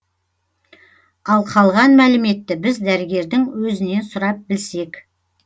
ал қалған мәліметті біз дәрігердің өзінен сұрап білсек